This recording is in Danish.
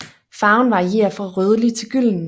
Farven varierer fra rødlig til gylden